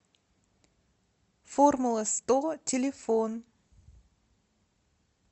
формула сто телефон